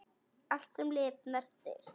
Allt, sem lifnar, deyr.